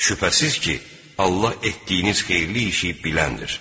Şübhəsiz ki, Allah etdiyiniz xeyirli işi biləndir.